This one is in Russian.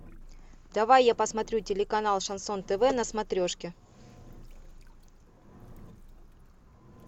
давай я посмотрю телеканал шансон тв на смотрешке